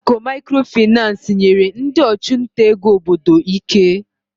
Ụlọ akụ Microfinance nyere ndị ọchụnta ego obodo ike.